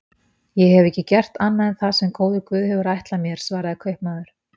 Ég hef ekki gert annað en það sem góður guð hefur ætlað mér, svaraði kaupmaður.